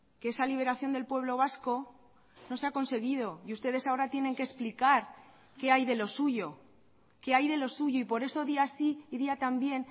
que esa liberación del pueblo vasco no se ha conseguido y ustedes ahora tienen que explicar que hay de lo suyo que hay de lo suyo y por eso día sí y día también